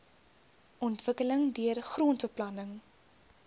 ontwikkeling deur grondbeplanning